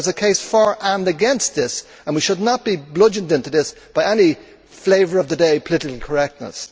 There is a case for and against this, and we should not be bludgeoned into this by any flavour of the day political correctness.